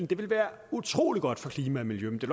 det være utrolig godt for klima og miljø men det